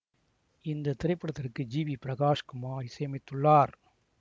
இந்த திரைப்படத்துக்கு ஜி வி பிரகாஷ் குமார் இசை அமைத்துள்ளார்